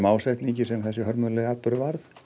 ásetningi sem þessi hörmulegi atburður varð